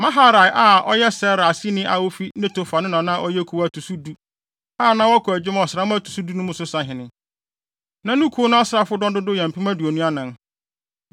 Maharai a ɔyɛ Serah aseni a ofi Netofa no na na ɔyɛ kuw a ɛto so du, a na wɔkɔ adwuma ɔsram a ɛto so du mu no so sahene. Na ne kuw no asraafodɔm dodow yɛ mpem aduonu anan (24,000).